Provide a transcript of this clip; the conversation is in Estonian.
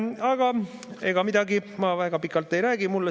Aga ega midagi, ma väga pikalt ei räägi.